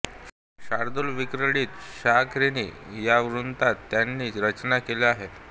शार्दूलविक्रीडित शिखरिणी या वृत्तांत त्यांनी रचना केल्या आहेत